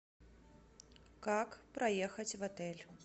как проехать в отель